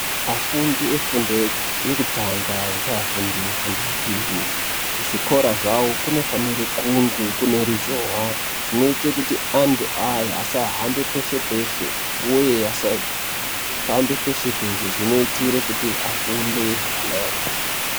Afundi efundo yekutanga ngeafundi efundo yepiri kuzvikora zvawo kunofanire kunge kune ruzhowa zvinoite kuti antu aya asahambe peshe-peshe uye asafambe peshe-peshe zvinoitire kuti afunde zvakanaka.